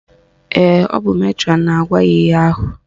Ee, ọ bụ metrọnụ na-agwa ya ihe ahụ